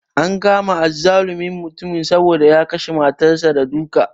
An kama azzalumin mutumin saboda ya kashe matar sa da duka